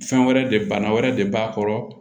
Fɛn wɛrɛ de bana wɛrɛ de b'a kɔrɔ